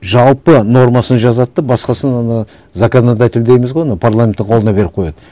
жалпы нормасын жазады да басқасын ана законодатель дейміз ғой анау парламенттің қолына беріп қояды